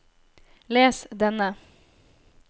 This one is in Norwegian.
les denne